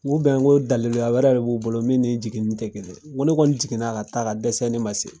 N ko u bɛn ko daliluya wɛrɛ de b'u bolo min ni jiginini te kelen ye n ko ne kɔni jigin n'a ka taa ka dɛsɛ ne ma se